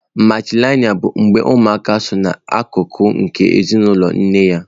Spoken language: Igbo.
Matrịlịnịa bụ mgbe ụmụaka sọ na akụkụ nke ezinụlọ nne ha.